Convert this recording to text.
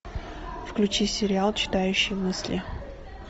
включи сериал читающий мысли